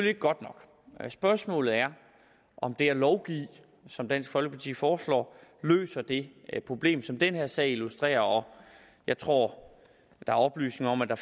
ikke godt nok spørgsmålet er om det at lovgive som dansk folkeparti foreslår løser det problem som den her sag illustrerer jeg tror der er oplysninger om at der